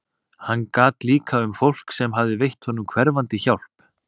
Hann gat líka um fólk sem hafði veitt honum hverfandi hjálp.